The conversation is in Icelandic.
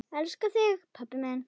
Elska þig pabbi minn.